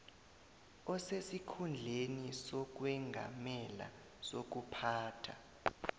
osesikhundleni sokwengamela sokuphatha